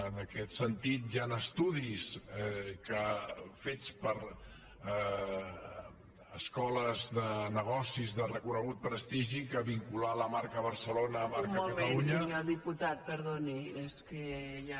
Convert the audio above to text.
en aquest sentit hi han estudis fets per escoles de negocis de reconegut prestigi que vincular la marca barcelona a la marca catalunya